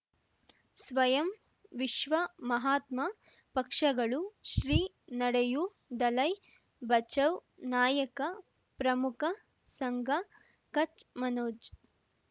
ಸ್ವಯಂ ವಿಶ್ವ ಮಹಾತ್ಮ ಪಕ್ಷಗಳು ಶ್ರೀ ನಡೆಯೂ ದಲೈ ಬಚೌ ನಾಯಕ ಪ್ರಮುಖ ಸಂಘ ಕಚ್ ಮನೋಜ್